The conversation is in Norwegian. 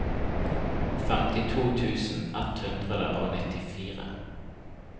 femtito tusen ett hundre og nittifire